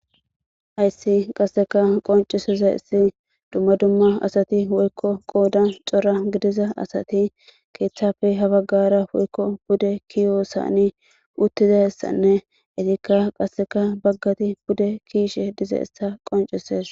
Ayssi qasseka qoncisiza issi dumma dumma asati woykko qoodan cora gidiza asati keeththafe habaggara oykko bude kiyoossani uttiza issanne itikka qasseka baggati bude kiishe diza issa qoncises.